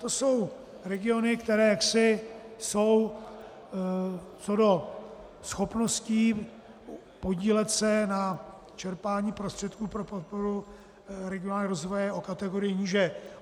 To jsou regiony, které jaksi jsou co do schopnosti podílet se na čerpání prostředků pro podporu regionálního rozvoje o kategorii níže.